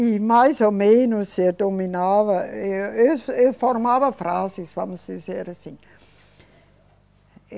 E, mais ou menos, se eu dominava, eu, eu, eu formava frases, vamos dizer assim.